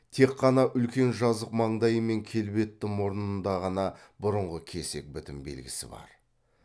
тек қана үлкен жазық маңдайы мен келбетті мұрнында ғана бұрынғы кесек бітім белгісі бар